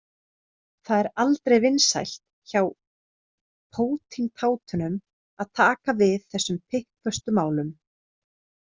Það er aldrei vinsælt hjá pótintátunum að taka við þessum pikkföstu málum.